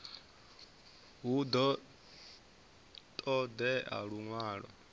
hu ḓo ṱo ḓea luṅwalo